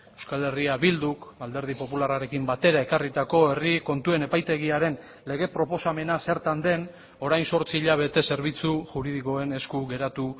euskal herria bilduk alderdi popularrarekin batera ekarritako herri kontuen epaitegiaren lege proposamena zertan den orain zortzi hilabete zerbitzu juridikoen esku geratu